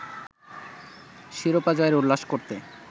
শিরোপা জয়ের উল্লাস করতে